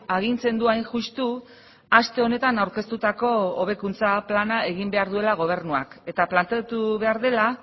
agintzen du hain justu aste honetan aurkeztutako hobekuntza plana egin behar duela gobernuak eta planteatu behar dela